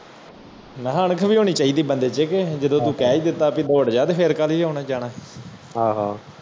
ਮੈਂ ਕਿਹਾ ਅਣਖ ਵੀ ਹੋਣੀ ਚਾਹੀਦੀ ਬੰਦੇ ਚ ਕਿ ਜਦੋ ਤੂੰ ਕਹਿ ਦਿੱਤੋ ਕਿ ਭੋਡ ਜਾ ਫਿਰ ਕਾਲੀ ਆਉਣਾ ਜਾਣਾ